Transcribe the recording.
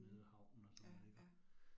Mh ja ja